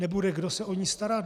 Nebude, kdo se o ni starat?